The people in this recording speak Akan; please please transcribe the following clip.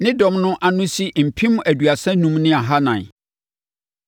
Ne dɔm ano si mpem aduasa enum ne ahanan (35,400).